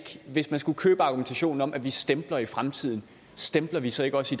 hvis man skulle købe argumentationen om at vi stempler i fremtiden stempler vi så ikke også